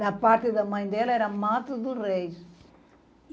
Da parte da mãe dela era Mato dos Reis.